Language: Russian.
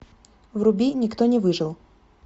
вруби никто не выжил